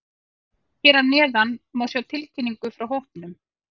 Hér að neðan má sjá tilkynningu frá hópnum.